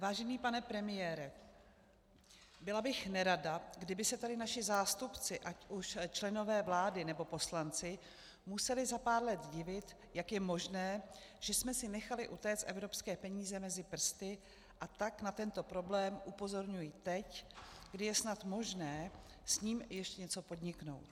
Vážený pane premiére, byla bych nerada, kdyby se tady naši nástupci, ať už členové vlády, nebo poslanci, museli za pár let divit, jak je možné, že jsme si nechali utéci evropské peníze mezi prsty, a tak na tento problém upozorňuji teď, kdy je snad možné s tím ještě něco podniknout.